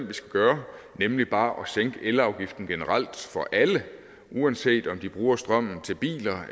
vi skal gøre nemlig bare at sænke elafgiften generelt for alle uanset om de bruger strømmen til biler